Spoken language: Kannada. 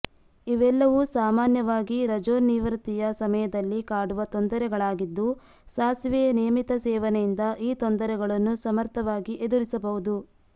ಇವೆಲ್ಲವೂ ಸಾಮಾನ್ಯವಾಗಿ ರಜೋನಿವೃತ್ತಿಯ ಸಮಯದಲ್ಲಿ ಕಾಡುವ ತೊಂದರೆಗಳಾಗಿದ್ದು ಸಾಸಿವೆಯ ನಿಯಮಿತ ಸೇವನೆಯಿಂದ ಈ ತೊಂದರೆಗಳನ್ನು ಸಮರ್ಥವಾಗಿ ಎದುರಿಸಬಹುದು